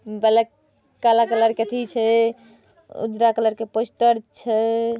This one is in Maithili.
ब्लाक काला कलर के अथी छै उजरा कलर के पोस्टर छै।